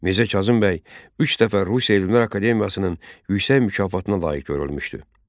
Mirzə Kazım bəy üç dəfə Rusiya Elmlər Akademiyasının yüksək mükafatına layiq görülmüşdü.